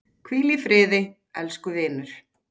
Hvíldu í friði, elsku vinur.